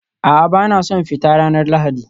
A'a, ba na son fita ranar Lahadi